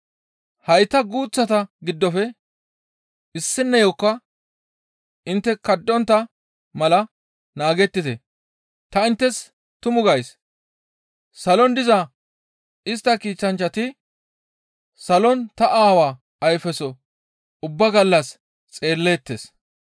«Hayta guuththata giddofe issineyokka intte kadhontta mala naagettite! Ta inttes tumu gays; salon diza istta kiitanchchati salon ta Aawa ayfeso ubbaa gallas xeelleettes.